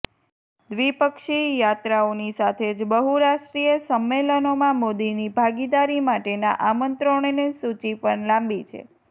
દ્વિપક્ષીય યાત્રાઓની સાથે જ બહુરાષ્ટ્રીય સમ્મેલનોમાં મોદીની ભાગીદારી માટેના આમંત્રણોની સૂચિ પણ લાંબી છે